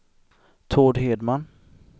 Tord Hedman